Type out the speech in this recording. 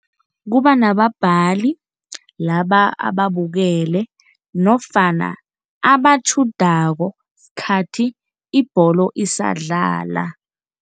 Kuba nababhali laba ababukele nofana abatjhudako sikhathi ibholo isadlala.